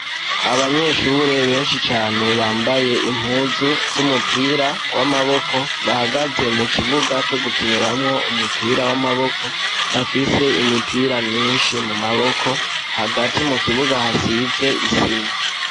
Abanyeshure benshi Cane bambaye impuzu zumupira wamaboko , bahagaze mukibuga Co gukiniramwo umupira wamaboko bafise imipira myinshi mumaboko Hagati mukibuga hasize isima.